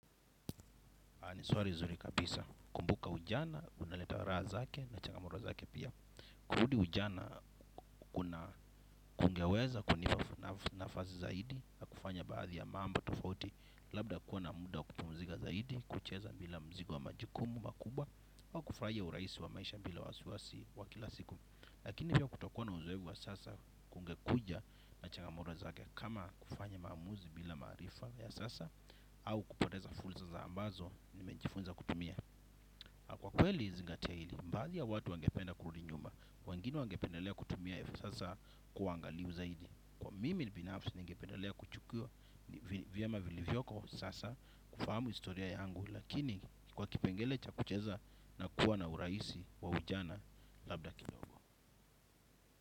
Ni swali zuri kabisa kumbuka ujana unaleta raha zake na changamoto zake pia. Kurudi ujana kuna kungeweza kunipa, nafu, nafasi zaidi ya kufanya baadhi ya mambo tofauti. Labda kuwa na muda wa kupumuzika zaidi, kucheza bila mzigo wa majukumu makubwa au kufurahia urahisi wa maisha bila wasiwasi wa kila siku lakini pia kutokuwa na uzoefu wa sasa kungekuja na changamoto zake. Kama kufanya maamuzi bila maarifa ya sasa au kupoteza fursa za ambazo nimejifunza kutumia. Kwa kweli zingatia hili baadhi ya watu wangependa kurudi nyuma wengine wangependalea kutumia hivi sasa kuangaliu zaidi kwa mimi binafsi ningependelea kuchuku. Vyema vilivyoko sasa kufahamu historia yangu. Lakini kwa kipengele cha kucheza na kuwa na urahisi wa ujana labda kidogo.